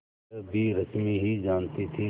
यह भी रश्मि ही जानती थी